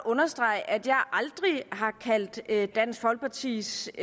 understrege at jeg aldrig har kaldt dansk folkepartis